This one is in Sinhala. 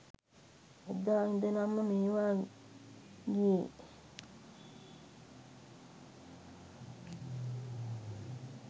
එදා ඉදලම මේවා ගියේ